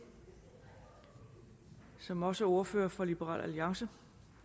som også er ordfører for liberal alliance